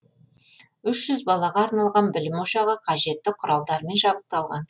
үш жүз балаға арналған білім ошағы қажетті құралдармен жабдықталған